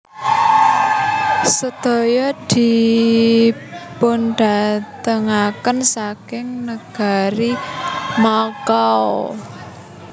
Sedaya dipundhatengaken saking nagari Makao